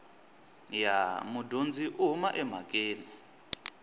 ya mudyondzi u huma emhakeni